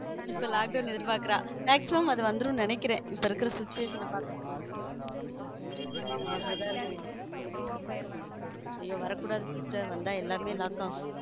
இப்போ lockdown எதிர்பாக்குறா maximum அது வந்துரும் நு நினைக்கிறேன் இப்ப இருக்க situation பார்த்தா அப்படித்தான் இருக்கு ஐயோ வரக்கூடாது sister வந்தா எல்லாமே lock ஆகும்.